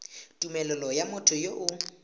tumelelo ya motho yo o